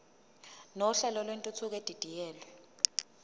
nohlelo lwentuthuko edidiyelwe